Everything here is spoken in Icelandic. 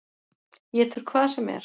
Étur hvað sem er.